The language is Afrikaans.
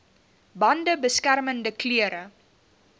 bande beskermende klere